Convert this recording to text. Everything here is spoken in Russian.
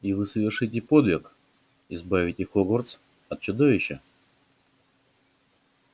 и вы совершите подвиг избавите хогвартс от чудовища